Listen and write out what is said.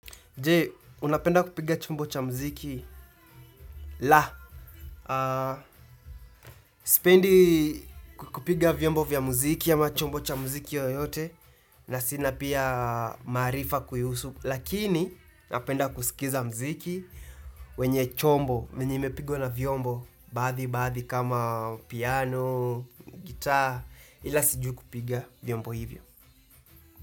Je, unapenda kupiga chombo cha mziki. La, sipendi kupiga vyombo vya mziki ama chombo cha mziki yoyote na sina pia maarifa kuihusu. Lakini, napenda kusikiza muziki wenye chumbo, wenye imepigwa na vyombo, baadhi baadhi kama piano, guitar, ila siju kupiga vyombo hivyo.